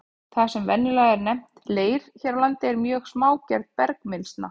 Það sem venjulega er nefnt leir hér á landi er mjög smágerð bergmylsna.